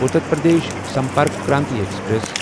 Uttar Pradesh Sampark Kranti express